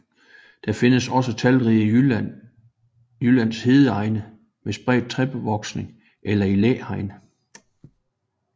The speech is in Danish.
Den findes også talrigt i Jyllands hedeegne med spredt træbevoksning eller i læhegn